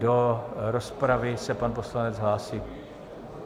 Do rozpravy se pan poslanec hlásí.